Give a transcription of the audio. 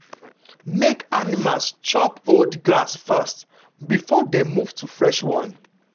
make animals chop old grass first before dem move to fresh one.